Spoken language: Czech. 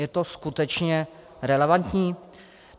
Je to skutečně relevantní?